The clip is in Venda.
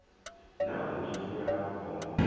na u nyefula u pomoka